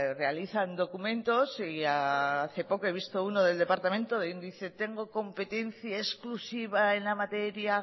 realizan documentos y hace poco he visto uno del departamento donde dice tengo competencia exclusiva en la materia